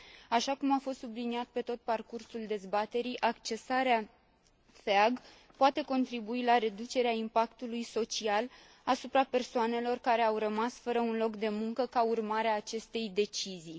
Așa cum a fost subliniat pe tot parcursul dezbaterii, accesarea FEAG poate contribui la reducerea impactului social asupra persoanelor care au rămas fără un loc de muncă ca urmare a acestei decizii.